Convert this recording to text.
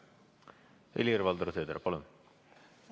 Helir-Valdor Seeder, palun!